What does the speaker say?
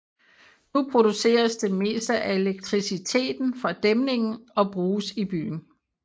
Nu produceres det meste af elektriciteten fra dæmningen og bruges i byen